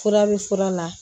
Fura bɛ fura la